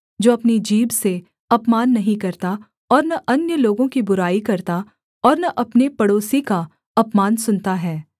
जो अपनी जीभ से अपमान नहीं करता और न अन्य लोगों की बुराई करता और न अपने पड़ोसी का अपमान सुनता है